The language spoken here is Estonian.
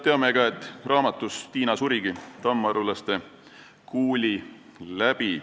Teame, et Tiina surigi tammarulaste kuuli läbi.